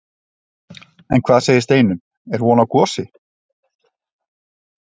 En hvað segir Steinunn, er von á gosi?